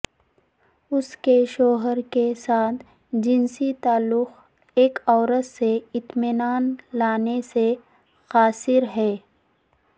اس کے شوہر کے ساتھ جنسی تعلق ایک عورت سے اطمینان لانے سے قاصر ہیں